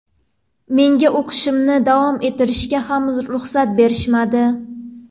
Menga o‘qishimni davom ettirishga ham ruxsat berishmadi.